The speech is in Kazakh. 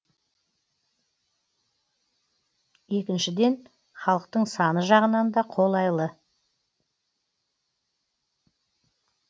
екіншіден халықтың саны жағынан да қолайлы